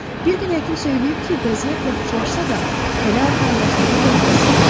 Bir gün həkim söyləyib ki, vəziyyət yaxşılaşsa da, hələ arxayınlaşmağa dəyməz.